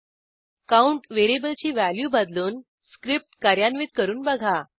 count व्हेरिएबलची value बदलून script कार्यान्वित करून बघा